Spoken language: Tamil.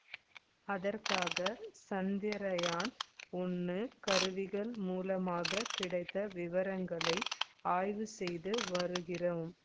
அதற்காக சந்திரயான் ஒன்னு கருவிகள் மூலமாக கிடைத்த விவரங்களை ஆய்வு செய்து வருகிறோம்